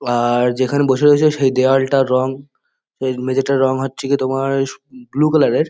আর যেখানে বসে রয়েছে সেই দেওয়ালটার রং এই মেঝেটার রং হচ্ছে গিয়ে তোমার ব্লু কালার -এর।